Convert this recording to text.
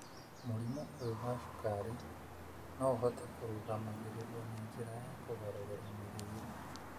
Mũrimũ ũyũ wa cukari no ũhote kũrũgamagĩrĩrũo na njĩra ya kũgarũrĩra mĩrĩre.